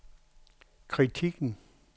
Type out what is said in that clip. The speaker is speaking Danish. kritikken